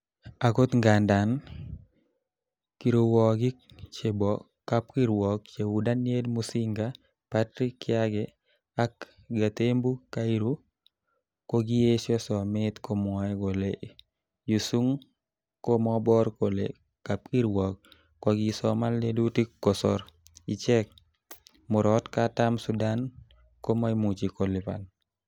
Agot ngandan, kiruokik chebo kapkirwok cheu Daniel Musinga, Patrick kiage ak Gatembu kairu kokiyesho somet komwoe kole Yu sung komobor kole kapkirwok kokisoman lelutik kosor ichek, Murot katam sudan komoimuche kolipan